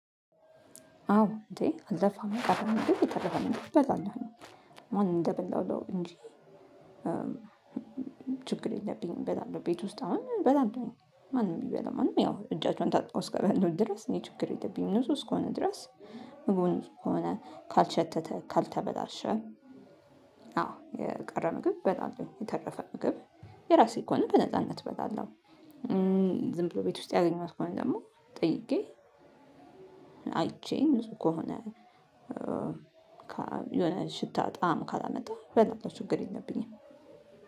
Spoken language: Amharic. አዎ እንዴ አልደፋም አልደፋም እንዴ በዛኛው ነው ማን እንደበላሁ ነው እንጂ ችግር የለብኝም በላሉ ቤት ውስጥ አሁን በላሉ ማንም ይበላው ማንም ያው እጃቸውን ታጥበው እስከበሉ ድረስ እኔ ችግር የለብኝም። ንጹህ እስከሆነ ድረስ ምግቡ ሆነ ካልሸተተ፣ ካልተበላ አዎ የቀረበ ምግብ እበላለሁኝ። የተረፈ ምግብ የራሴ ከሆነ በነጻነት እበላለሁ። ዝም ብሎ ቤት ውስጥ ያገኘኋት ከሆነ ደግሞ ጠይቄ አይቼም ንጹህ ከሆነ የሆነ ሽታ ጣዕም ካላመጣ እበላለሁ ችግር የለብኝም።